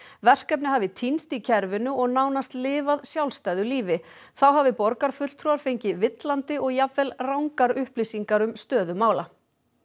verkefnið hafi týnst í kerfinu og nánast lifað sjálfstæðu lífi þá hafi borgarfulltrúar fengið villandi og jafnvel rangar upplýsingar um stöðu mála